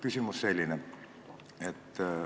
Küsimus Valga Haigla kohta.